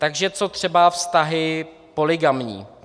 Takže co třeba vztahy polygamní?